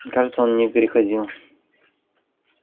кажется он не переходил